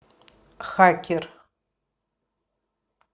хакер